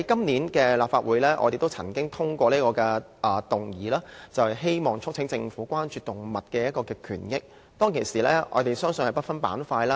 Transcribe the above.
上個立法會年度，我們通過議員議案，促請政府關注動物權益，並制定動物保護法。